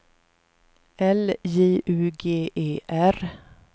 L J U G E R